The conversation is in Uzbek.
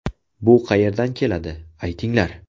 Bu qayerdan keladi, aytinglar?